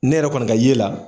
Ne yɛrɛ kɔni ka ye la